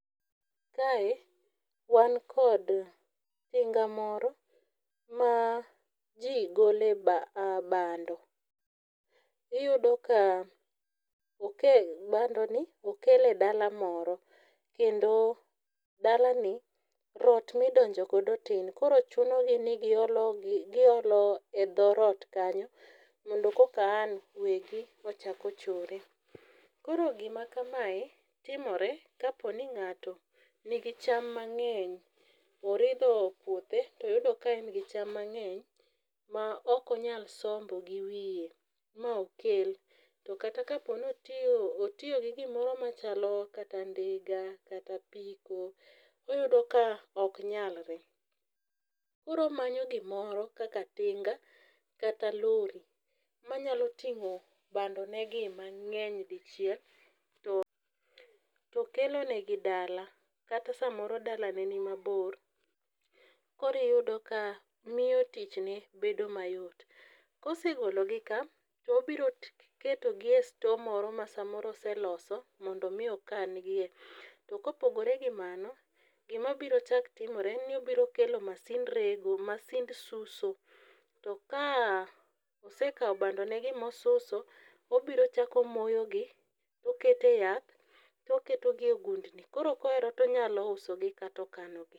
Kae wan kod tinga moro ma ji gole bando. Iyudo ka bandoni okele dala moro kendo dalani rot midonjogodo tin koro chunogi ni giolo e dho rot kanyo mondo koka an wegi ochakochore. Koro gima kamae timore kaponi ng'ato nigi cham mang'eny, oridho puothe toyudo ka en gi cham mang'eny ma okonyal sombo gi wiye mokel to kata kaponi otio gi gimoro machalo kata ndiga kata apiko, iyudo ka oknyalre. koro omanyo gimoro kaka tinga kata lori manyaloting'o bandonegi mang'eny dichiel to kelonegi dala kata samoro dalane ni mabor koriyudo ka miyo tichne bedo mayot. Kosegologi ka tobiroketogi e store moro ma samoro oseloso mondo omii okangie. To kopogore gi mano gimabiro chak timre ni obiro kelo masind rego, masind suso .To ka osekao bandonegi mosuso obirochako omoyogi tokete yath toketogie gundni koro koero tonyalousogi katokanogi.